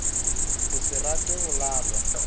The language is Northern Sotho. go se rate go lalwa